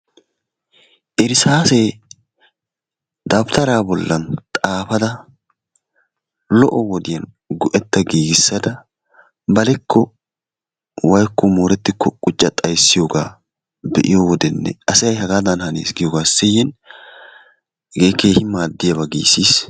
Irssaasee dawutaraa bollan xaafada lo'o wodiyan lo'o wodiyan go'etta giigissada balikko woykko moorettikko qucca xayssiyoogaa be'iyo wode asay hagaadan hanees giiyoogaa siyin hegee keehi madiyaaba giisiis.